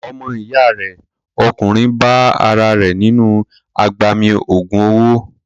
Ọmọ ìyá rẹ̀ ọkùnrin bá ara rẹ̀ nínú agbami ògùn owó.